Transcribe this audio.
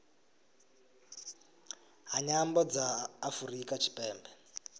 ha nyambo dza afurika tshipembe